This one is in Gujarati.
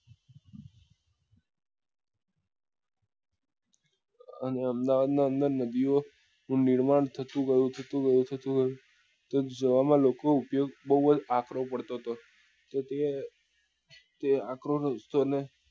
અને અમદાવાદ ની અંદર નદીઓ નું નિર્માણ થતું ગયું થતું ગયું થતું ગયું તો જોવા માં લોકો ઉપયોગ બઉ જ આક્રો પડતો હતો તો તે તે આક્રો રસ્તો ને